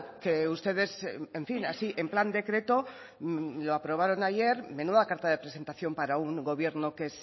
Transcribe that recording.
que ustedes en fin así en plan decreto lo aprobaron ayer menuda carta de presentación para un gobierno que